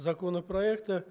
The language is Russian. законопроекта